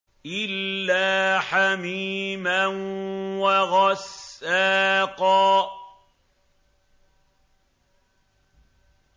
إِلَّا حَمِيمًا وَغَسَّاقًا